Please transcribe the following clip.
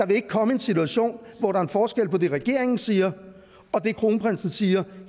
ville komme en situation hvor der var forskel på det regeringen siger og det kronprinsen siger